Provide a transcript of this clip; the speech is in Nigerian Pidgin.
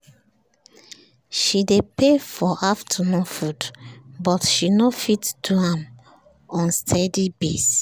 she dey pay for afternoon food but she no fit do am on steady base